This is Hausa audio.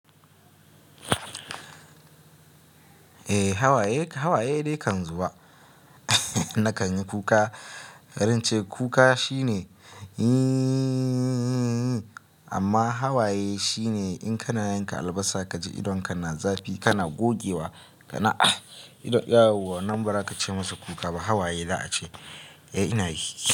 Eh hawaye, hawaye dai kan zuwa. Nakan yi kuka, bari ince kuka shine mmmm, amma hawaye shine in kana yanka albasa ka ji idonka na zafi kana gogewa kana ah! Yauwa wannan nan bara ka ce masa kuka ba hawaye za a ce. Eh ina yi.